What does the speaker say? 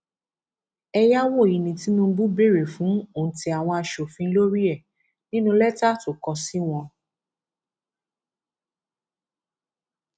ẹyáwó yìí ní tinubu béèrè fún òǹtẹ àwọn aṣòfin lórí ẹ nínú lẹtà tó kọ sí wọn